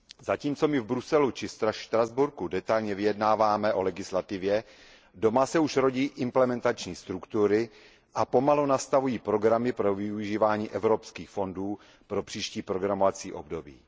Zatímco my v Bruselu či Štrasburku detailně vyjednáváme o legislativě, doma se už rodí implementační struktury a pomalu nastavují programy pro využívání evropských fondů pro příští programovací období.